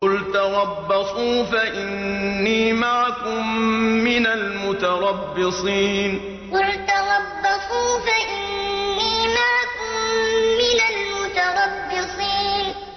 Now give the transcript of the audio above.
قُلْ تَرَبَّصُوا فَإِنِّي مَعَكُم مِّنَ الْمُتَرَبِّصِينَ قُلْ تَرَبَّصُوا فَإِنِّي مَعَكُم مِّنَ الْمُتَرَبِّصِينَ